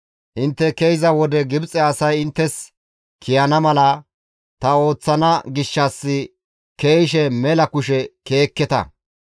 «Intte ke7iza wode Gibxe asay inttes kiyana mala ta ooththana gishshas ke7ishe mela kushe ke7ekketa.